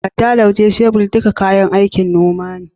Adda, Lauje, shebir duka kayan aikin noma ne.